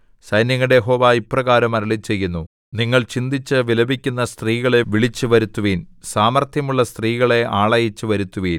സൈന്യങ്ങളുടെ യഹോവ ഇപ്രകാരം അരുളിച്ചെയ്യുന്നു നിങ്ങൾ ചിന്തിച്ചു വിലപിക്കുന്ന സ്ത്രീകളെ വിളിച്ചു വരുത്തുവിൻ സാമർത്ഥ്യമുള്ള സ്ത്രീകളെ ആളയച്ച് വരുത്തുവിൻ